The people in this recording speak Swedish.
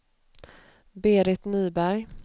Berit Nyberg